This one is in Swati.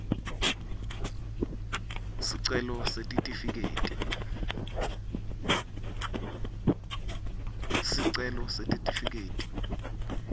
sicelo sesitifiketi